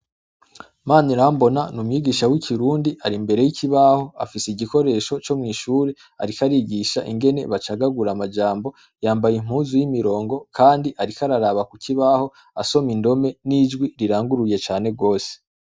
MANIRAMBONA n'umwigisha w'ikirundi ari imbere y'ikibaho afise igikoresho co mw'ishure ariko arigisha ingene bacagagura amajambo yambaye impunzu y'imirongo kandi ariko araraba kukibaho asoma indome n'ijwi riranguruye cane gose.